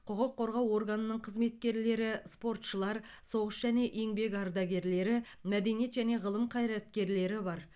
құқық қорғау органының қызметкерлері спортшылар соғыс және еңбек ардагерлері мәдениет және ғылым қайраткерлері бар